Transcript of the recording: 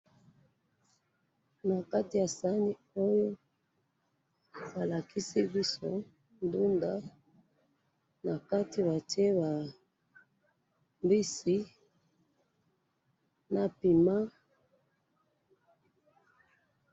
Na kati ya saani oyo ba lakisi biso ndunda na kati ba tie ba mbisi na piment